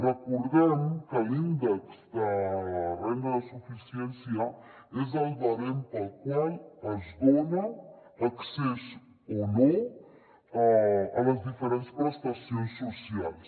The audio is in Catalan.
recordem que l’índex de renda de suficiència és el barem pel qual es dona accés o no a les diferents prestacions socials